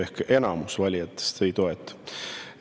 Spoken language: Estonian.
Ehk siis enamus valijatest ei toeta.